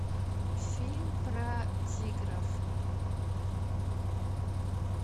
фильм про тигров